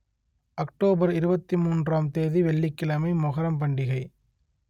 October இருபத்தி மூன்றாம் தேதி வெள்ளிக் கிழமை மொகரம் பண்டிகை